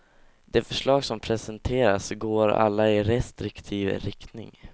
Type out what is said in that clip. De förslag som presenteras går alla i restriktiv riktning.